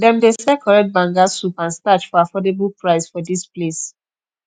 dem dey sell correct banga soup and starch for affordable price for dis place